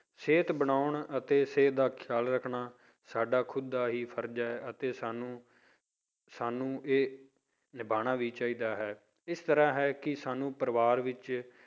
ਸਿਹਤ ਬਣਾਉਣ ਅਤੇ ਸਿਹਤ ਦਾ ਖਿਆਲ ਰੱਖਣਾ ਸਾਡਾ ਖੁੱਦਾ ਦਾ ਹੀ ਫ਼ਰਜ਼ ਹੈ ਅਤੇ ਸਾਨੂੰ, ਸਾਨੂੰ ਇਹ ਨਿਭਾਉਣਾ ਵੀ ਚਾਹੀਦਾ ਹੈ, ਇਸ ਤਰ੍ਹਾਂ ਹੈ ਕਿ ਸਾਨੂੰ ਪਰਿਵਾਰ ਵਿੱਚ